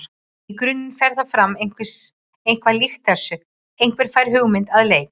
Í grunninn fer það fram eitthvað líkt þessu: Einhver fær hugmynd að leik.